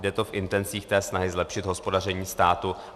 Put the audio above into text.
Jde to v intencích té snahy zlepšit hospodaření státu.